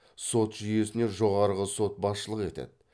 сот жүйесіне жоғарғы сот басшылық етеді